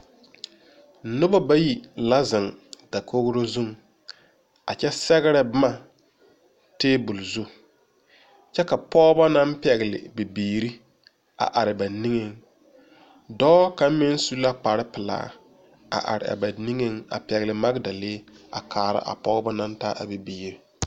Noba bayi la biŋ dakogri zuŋ a kyɛ sɛgre boma tabol zu kyɛ ka pɔgeba naŋ pɛŋle bibiiri are ba niŋe dɔɔ kaŋ mine su la kpare pelaa a are a ba niŋe a pɛgle magɛdalee a kaara a pɔgeba naŋ taa a bibiiri.